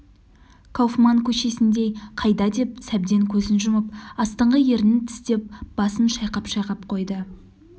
кауфман көшесіндей қайда деп сәбден көзін жұмып астыңғы ернін тістеп басын шайқап-шайқап қойды